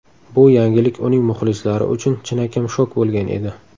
Bu yangilik uning muxlislari uchun chinakam shok bo‘lgan edi.